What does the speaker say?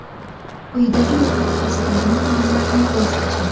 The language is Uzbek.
Quyidagi ro‘yxatda ko‘rsatilgan taomlardan voz keching.